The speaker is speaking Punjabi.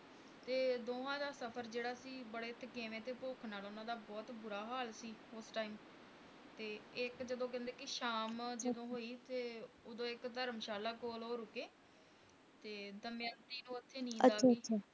ਤੇ ਦੋਹਾਂ ਦਾ ਸਫ਼ਰ ਜਿਹੜਾ ਸੀ ਬੜੇ ਥਕੇਵੇਂ ਤੇ ਭੁੱਖ ਨਾਲ ਉਨ੍ਹਾਂ ਦਾ ਬਹੁਤ ਬੁਰਾ ਹਾਲ ਸੀ ਉਸ time ਤੇ ਇੱਕ ਜਦੋਂ ਕਿ ਕਹਿੰਦੇ ਕਿ ਸ਼ਾਮ ਜਦੋਂ ਹੋਈ ਤੇ ਉਦੋਂ ਇੱਕ ਧਰਮਸ਼ਾਲਾ ਕੋਲ ਓਹੋ ਰੁਕੇ ਤੇ ਦਮਯੰਤੀ ਨੂੰ ਉੱਥੇ ਨੀਂਦ ਆ ਗਈ